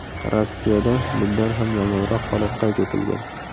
Rossiyada bundan ham yomonroq holat qayd etilgan.